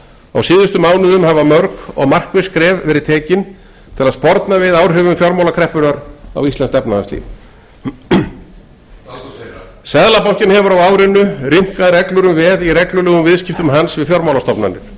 á síðustu mánuðum hafa mörg og markviss skref verið tekin til að sporna við áhrifum fjármálakreppunnar á íslenskt efnahagslíf seðlabankinn hefur á árinu rýmkað reglur um veð í reglulegum viðskiptum hans við fjármálastofnanir